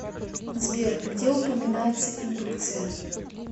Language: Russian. сбер где упоминается индукция